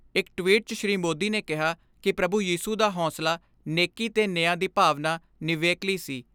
ਇਕ ਟਵੀਟ 'ਚ ਸ੍ਰੀ ਮੋਦੀ ਨੇ ਕਿਹਾ ਕਿ ਪ੍ਰਭੂ ਯੀਸੂ ਦਾ ਹੌਂਸਲਾ ਨੇਕੀ ਤੇ ਨਿਆਂ ਦੀ ਭਾਵਨਾ ਨਿਵੇਕਲੀ ਸੀ।